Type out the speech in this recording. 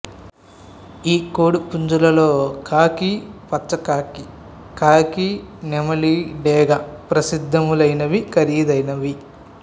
ఈ కోడి పుంజులలో కాకి పచ్చ కాకి కాకి నెమలి డేగ ప్రసిద్దములైనవి ఖరీదైనవి